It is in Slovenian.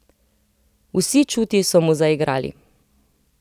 Vsi čuti so mu zaigrali.